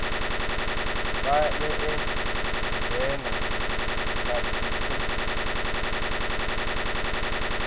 vha vhee dzibena na dziphosita